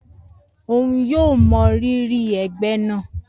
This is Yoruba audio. Oun yoo mọ riri ẹgbẹ naa